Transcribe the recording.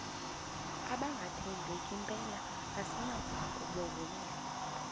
abangathembeki mpela asinakubovumela